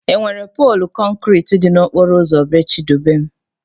Enwere poolu kọnkriti dị n'okporo ụzọ bee Chidubem?